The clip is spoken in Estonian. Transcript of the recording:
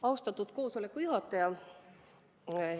Austatud koosoleku juhataja!